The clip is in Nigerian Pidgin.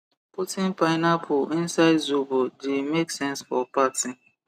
putting pineapple inside zobo the make sense for party